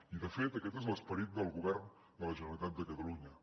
i de fet aquest és l’esperit del govern de la generalitat de catalunya